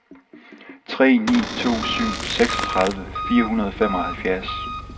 tre ni to syv seksogtredive fire hundrede og femoghalvfjerds